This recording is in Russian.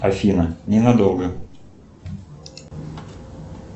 афина ненадолго